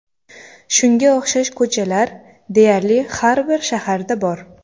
Shunga o‘xshash ko‘chalar deyarli har bir shaharda bor.